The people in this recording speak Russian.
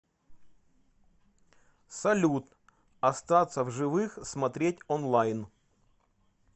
салют остаться в живых смотреть онлайн